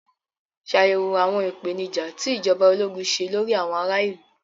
Ṣàyẹ̀wò àwọn ìpèníjà tí ìjọba ológun ṣe lórí àwọn ará ìlú.